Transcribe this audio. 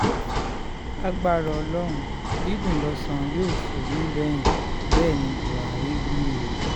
lagbára ọlọ́run dídùn lọ́sàn yóò sọ nígbẹ̀yìn bẹ́ẹ̀ ní buhari wí o